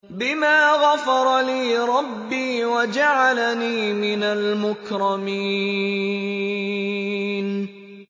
بِمَا غَفَرَ لِي رَبِّي وَجَعَلَنِي مِنَ الْمُكْرَمِينَ